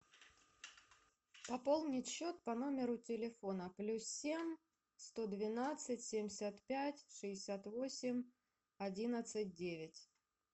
пополнить счет по номеру телефона плюс семь сто двенадцать семьдесят пять шестьдесят восемь одиннадцать девять